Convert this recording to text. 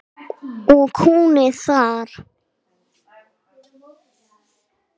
Og hún er þar.